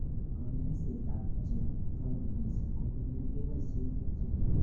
Konyoisetab che togu missing keboisie kerchek